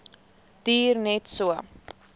duur net so